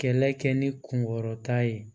Kɛlɛ kɛ ni kunkɔrɔta ye